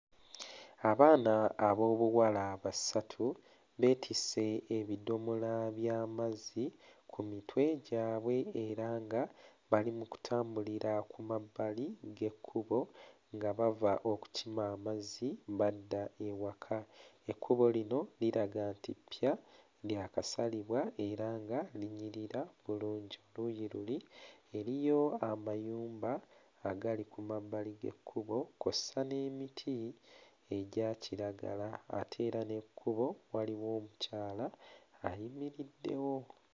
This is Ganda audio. Abaana ab'obuwala basatu beetisse ebidomola by'amazzi ku mitwe gyabwe era nga bali mu kutambulira ku mabbali g'ekkubo nga bava okukima amazzi badda ewaka. Ekkubo lino liraga nti ppya lya kasalibwa era nga linyirira bulungi, ku luuyi luli eriyo amayumba agali ku mabbali g'ekkubo kw'ossa n'emiti egya kiragala ate era n'ekkubo waliwo omukyala ayimiriddewo.